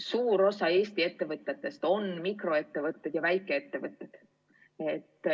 Suur osa Eesti ettevõtetest on mikroettevõtted või väikeettevõtted.